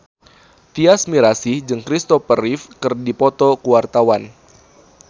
Tyas Mirasih jeung Christopher Reeve keur dipoto ku wartawan